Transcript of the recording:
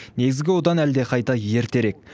негізгі одан әлдеқайда ертерек